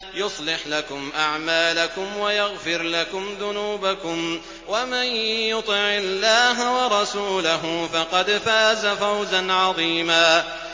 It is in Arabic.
يُصْلِحْ لَكُمْ أَعْمَالَكُمْ وَيَغْفِرْ لَكُمْ ذُنُوبَكُمْ ۗ وَمَن يُطِعِ اللَّهَ وَرَسُولَهُ فَقَدْ فَازَ فَوْزًا عَظِيمًا